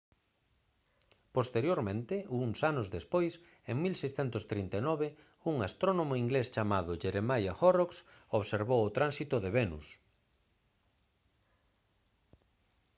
posteriormente uns anos despois en 1639 un astrónomo inglés chamado jeremiah horrocks observou o tránsito de venus